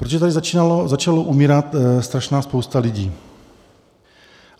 Protože tady začala umírat strašná spousta lidí.